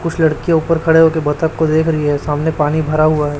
कुछ लड़कियां ऊपर खड़े होकर बतख को देख रही है सामने पानी भरा हुआ है।